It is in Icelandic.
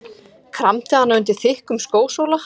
Kramdi hana undir þykkum skósóla.